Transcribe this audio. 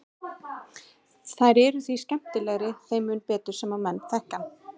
Þær eru því skemmtilegri þeim mun betur sem menn þekkja hann.